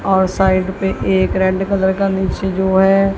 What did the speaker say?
और साइड पे एक रेड कलर का नीचे जो है।